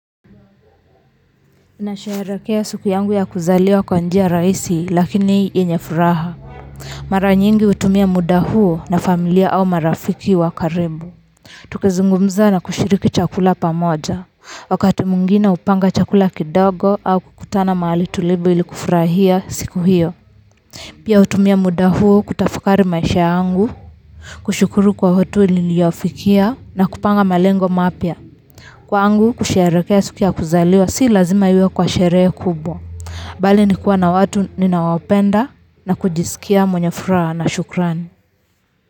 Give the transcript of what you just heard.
Nasherehekea siku yangu ya kuzaliwa kwa njia rahisi lakini yenye furaha mara nyingi utumia muda huo na familia au marafiki wa. Karibu tukizungumza na kushiriki chakula pamoja wakati mwingine upanga chakula kidogo au kukutana mahali tulivu ili kufurahia siku hiyo pia hutumia muda huu kutafakari maisha yangu kushukuru kwa watu walionifikia na kupanga malengo mapya, kwangu kusherehekea siku ya kuzaliwa sio lazima iwe kwa sherehe kubwa bali ni kuwa na watu ninaowapenda na kujisikia mwenye furaha na shukrani.